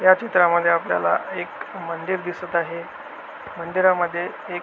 या चित्रा मध्ये आपल्याला एक मंदिर दिसत आहे मंदिरा मध्ये एक --